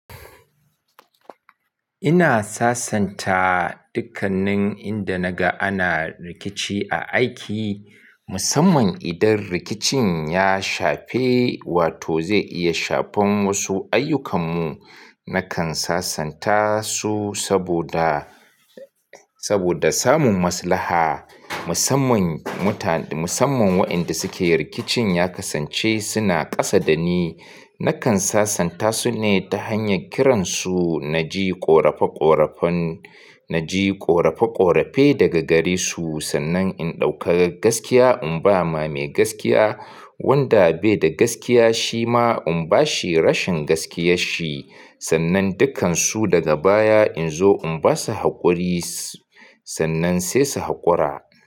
Ina sasanta dukkanin inda naga ana rikici a aiki, musamman idan rikicin ya shafe wato zai iya shafan wasu ayyukanmu. Nakan sasanta su saboda, saboda samun maslaha musamman muta- musamman waɗanda suke rikicin ya kasance suna kasa da ni. Nakan sasanta su ne ta hanyar kiransu, na ji ƙorafe ƙorafen, na ji ƙorafe ƙorafe daga gare su sannan in ɗauka gaskiya in ba ma mai gaskiya, wanda bai da gaskiya shi ma in ba shi rashin gaskiyar shi sannan dukkan su daga baya in zo in ba su haƙuri sannan sai su haƙura.